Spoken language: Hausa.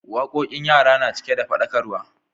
Waƙoƙin yara na cike da fada ƙaruwa